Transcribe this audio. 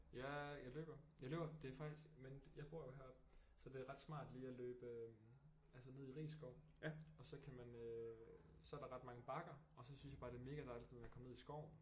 Ja jeg løber jeg løber det er faktisk men jeg bor jo heroppe så det er ret smart lige at løbe altså ned i Risskov og så kan man øh så er der ret mange bakker og så synes jeg bare det er mega dejligt du ved at komme ned i skoven